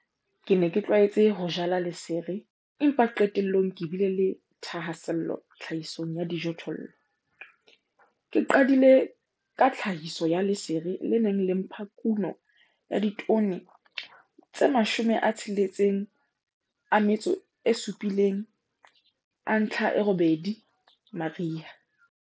Ke ne ke tlwaetse ho jala lesere empa qetellong ke bile le thahasello tlhahisong ya dijothollo. Ke qadile ka tlhahiso ya lesere le neng le mpha kuno ya ditone tse 67,8 mariha.